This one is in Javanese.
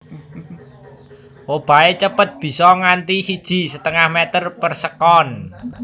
Obahé cepet bisa nganti siji setengah meter per sekon